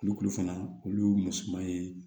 Kulukulu fana olu ye musoman ye